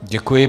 Děkuji.